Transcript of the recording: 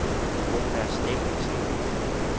Mona Steffensen